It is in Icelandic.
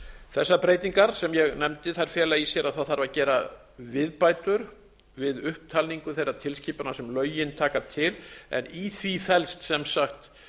þessar breytingar sem ég nefndi fela í sér að það þarf að gera viðbætur við upptalningu þeirra tilskipana sem lögin taka til en í því felst sem sagt